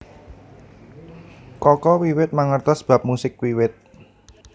Kaka wiwit mangertos bab musik wiwit